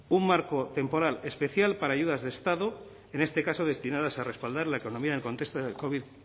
un marco temporal especial para ayudas de estado en este caso destinadas a respaldar la economía en el contexto del covid